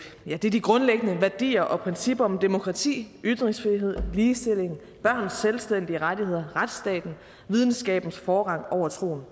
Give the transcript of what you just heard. det er de de grundlæggende værdier og principper om demokrati ytringsfrihed ligestilling børns selvstændige rettigheder retsstaten og videnskabens forrang over troen